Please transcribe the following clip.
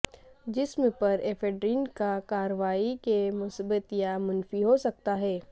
جسم پر ایفیڈرین کا کارروائی کے مثبت یا منفی ہو سکتا ہے